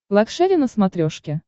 лакшери на смотрешке